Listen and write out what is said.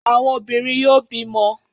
Àwọn obìnrin yóò bímọ.